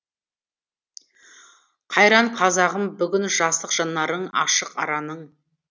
қайран қазағым бүгін жасық жанарың ашық араның